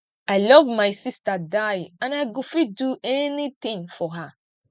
i love my sister die and i go fit do anything for her